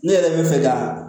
Ne yɛrɛ bɛ fɛ ka